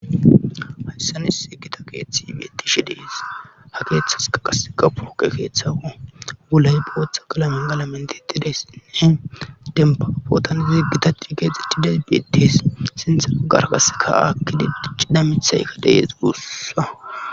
Hayssanise gita keeththi beettishi dees ha keeththas ka qaseka puroke keeththawa gulay bootha galamen galamentiitedessinne denaapootani ziggita ciikeexi dide beetes sintha agarkasekahaakki d cidamithaykka deye guussa.